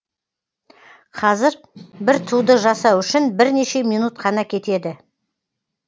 қазір бір туды жасау үшін бірнеше минут қана кетеді